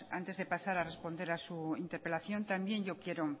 antes de pasar a responder a su interpelación también yo quiero